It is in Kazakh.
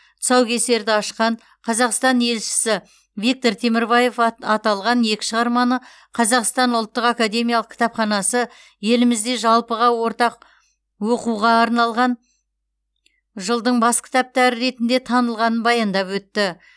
тұсаукесерді ашқан қазақстан елшісі виктор темірбаев аталған екі шығарманы қазақстан ұлттық академиялық кітапханасы елімізде жалпыға ортақ оқуға арналған жылдың бас кітаптары ретінде танылғанын баяндап өтті